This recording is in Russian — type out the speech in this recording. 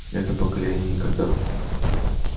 это поколение никогда